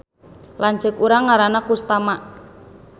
Lanceuk urang ngaranna Kustama